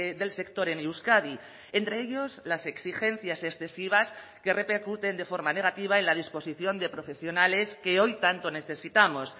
del sector en euskadi entre ellos las exigencias excesivas que repercuten de forma negativa y la disposición de profesionales que hoy tanto necesitamos